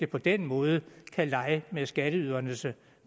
på den måde kan lege med skatteydernes